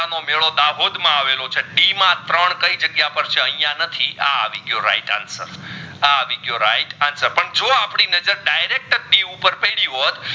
મેડો દાહોદ માં અવલો છે D માં ત્રણ કઈ જાગીય પર છે આઇયાહ નહીં આ આવી ગયો right answer આ આવી ગયો right answer જો અપડી નજર direct C ઉપપર પડી હોટ